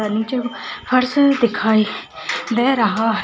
निचे फर्स दिखाई दे रहा हैं।